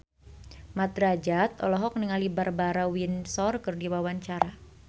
Mat Drajat olohok ningali Barbara Windsor keur diwawancara